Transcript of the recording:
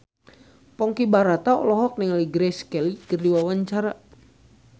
Ponky Brata olohok ningali Grace Kelly keur diwawancara